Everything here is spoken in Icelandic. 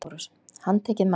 LÁRUS: Handtakið manninn!